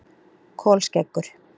Kolskeggur